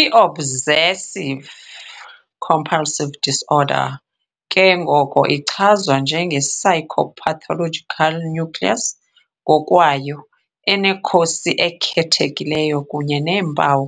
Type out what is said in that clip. I-Obsessive-compulsive disorder ke ngoko ichazwa njenge-psychopathological nucleus ngokwayo, enekhosi ekhethekileyo kunye neempawu,